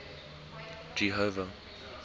jehova